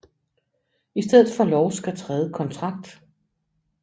I stedet for lov skal træde kontrakt